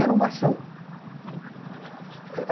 Era uma ação.